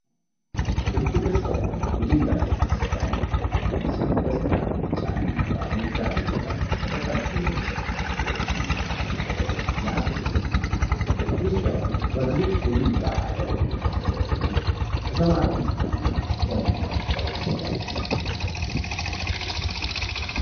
ክብ ቅርጽ ያለው የድንጋይ ቤተክርስቲያን በሰማያዊ፣ ቢጫ እና አረንጓዴ ቀለም በተቀቡ የእንጨት ምሰሶዎች እና መስኮቶች ያጌጠ ነው። ቤተክርስቲያኑ በግዙፍ የድንጋይ አጥር የተከበበ ሲሆን ከሰማያዊ ሰማይ እና ደመናዎች ጋር ይታያል።